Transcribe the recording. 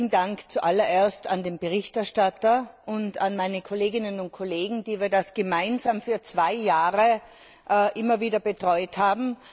Herzlichen Dank zuallererst an den Berichterstatter und an meine Kolleginnen und Kollegen, die wir das gemeinsam während zwei Jahren betreut haben.